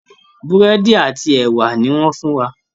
Búrẹ́dì àti ẹwà ni wọ́n fún wa